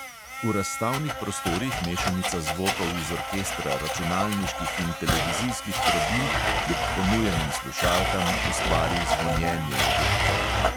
V razstavnih prostorih mešanica zvokov iz orkestra računalniških in televizijskih trobil, kljub ponujenim slušalkam, ustvari zvonjenje v glavi.